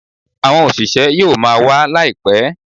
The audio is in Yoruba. Àwọn òṣìṣẹ́ yóò máa wa laipẹ